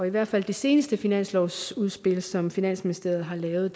i hvert fald i det seneste finanslovsudspil som finansministeriet har lavet